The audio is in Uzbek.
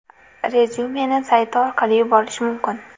Rezyumeni sayti orqali yuborish mumkin.